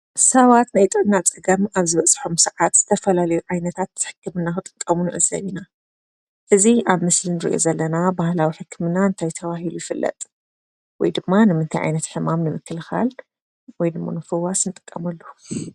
ሰባት ናይ ጥዕና ፀገም ኣብ ዝበፅሖም ሰዓት ዝተፈላለዩ ዓይነታት ሕክምና ክጥቀሙ ንዕዘብ ኢና። እዚ ኣብ ምስሊ ንሪኦ ዘለና ባህላዊ ሕክምና እንታይ ተባሂሉ ይፍለጥ? ወይድማ ንምንታይ ዓይነት ሕማም ንምክልኻል ?ወይ ድማ ምፍዋስ ንጥቀመሉ?